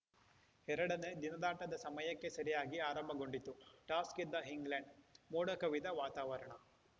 ಎರಡನೇ ದಿನದಾಟದ ಸಮಯಕ್ಕೆ ಸರಿಯಾಗಿ ಆರಂಭಗೊಂಡಿತು ಟಾಸ್‌ ಗೆದ್ದ ಇಂಗ್ಲೆಂಡ್‌ ಮೋಡ ಕವಿದ ವಾತಾವರಣ